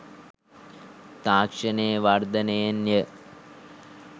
තාක්ෂණයේ වර්ධනයන් ය